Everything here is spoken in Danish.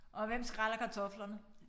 Og hvem skræller kartoflerne